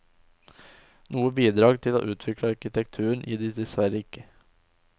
Noe bidrag til å utvikle arkitekturen gir de dessverre ikke.